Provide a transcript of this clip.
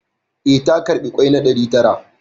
Eh, ta karɓi ƙwai na ɗari tara